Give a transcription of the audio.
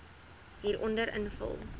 hieronder invul